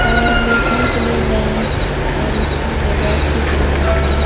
और लेटने के लिए बेंच और एक जगह सीट बनाई गई है।